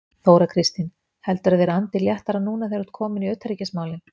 Þóra Kristín: Heldurðu að þeir andi léttara núna þegar þú ert kominn í utanríkismálin?